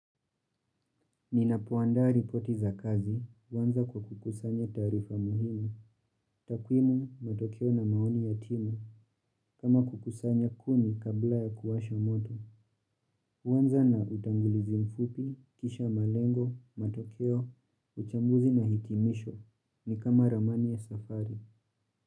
Ninapoandaa ripoti za kazi, huanza kwa kukusanya taarifa muhimu, takuimu, matokeo na maoni ya timu, kama kukusanya kuni kabla ya kuwasha moto, huanza na utangulizi mfupi, kisha malengo, matokeo, uchambuzi na hitimisho, ni kama ramani ya safari.